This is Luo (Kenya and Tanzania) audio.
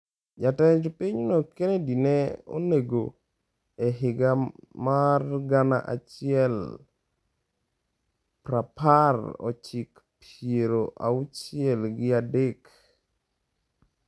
Jatend pinyno Kennedy ne onego e higa mar gana achiel prapar ochik piero auchiel gi a dek.